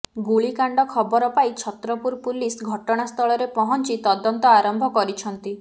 ଗୁଳିକାଣ୍ଡ ଖବର ପାଇ ଛତ୍ରପୁର ପୁଲିସ ଘଟଣାସ୍ଥଳରେ ପହଞ୍ଚି ତଦନ୍ତ ଆରମ୍ଭ କରିଛନ୍ତି